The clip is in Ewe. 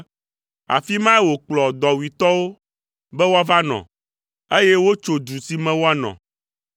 afi mae wòkplɔ dɔwuitɔwo be woava nɔ, eye wotso du si me woanɔ.